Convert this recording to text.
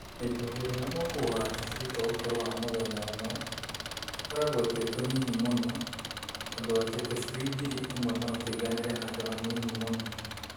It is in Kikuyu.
Hĩndĩ ĩrĩa ũkũgũra tũcui twa ũkũrũ wa mũthenya ũmwe, tũkoragwo twĩ tũnini mũno ũndũ atĩ tũcui ngiri ĩmwe no tũiganĩre handũ hanini mũno.